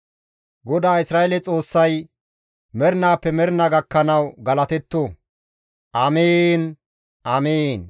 GODAA Isra7eele Xoossay mernaappe mernaa gakkanawu galatetto. Amiin! Amiin!